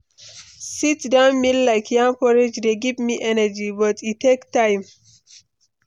Sit-down meal like yam porridge dey give me energy, but e take time.